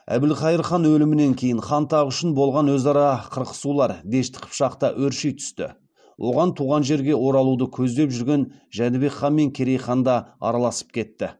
әбілқайыр хан өлімінен кейін хан тағы үшін болған өзара қырқысулар дешті қыпшақта өрши түсті оған туған жерге оралуды көздеп жүрген жәнібек хан мен керей хан да араласып кетті